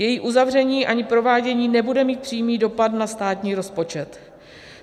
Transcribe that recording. Její uzavření ani provádění nebude mít přímý dopad na státní rozpočet.